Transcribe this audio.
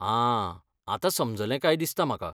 आं, आतां समजलें काय दिसता म्हाका.